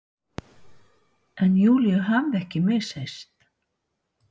En Júlíu hafði ekki misheyrst.